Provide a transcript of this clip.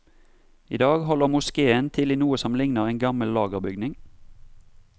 I dag holder moskéen til i noe som ligner en gammel lagerbygning.